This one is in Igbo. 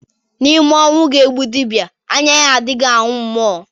N'ime ọnwu ga-egbu dibịa anya ya adighị ahụ mmụọ